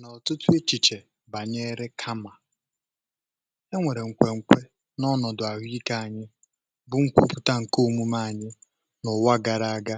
nà ọ̀tụtụ echìchè bànyẹrẹ kamà e nwèrè nkwẹnkwẹ n’ọnọ̀dụ̀ àhụ ikė um anyị bụ nkwọpụta ǹkẹ òmume anyị n’ụ̀wa gara aga